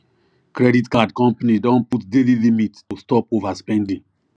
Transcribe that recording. credit card company don put daily limit to stop overspending